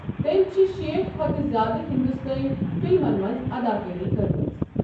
تٔمۍ چھِ شیٹھ کھوتہٕ زیادٕ ہندوستانی فِلمَن منٛز اداکٲری کٔرمٕژ۔